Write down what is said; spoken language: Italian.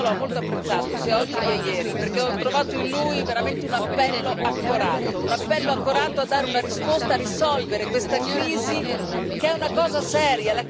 Io l'ho molto apprezzato, sia oggi che ieri, perché ho trovato in lui veramente un appello accorato, un appello accorato a dare una risposta a risolvere questa crisi che è una cosa seria.